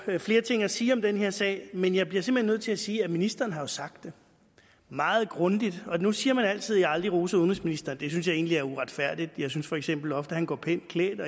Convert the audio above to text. flere ting at sige om den her sag men jeg bliver simpelt hen nødt til at sige at ministeren har sagt det meget grundigt og nu siger man altid at jeg aldrig roser udenrigsministeren det synes jeg egentlig er uretfærdigt jeg synes for eksempel ofte at han går pænt klædt